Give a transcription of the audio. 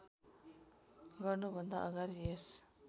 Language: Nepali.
गर्नुभन्दा अगाडि यस